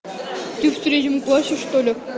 ты в третьем классе что ли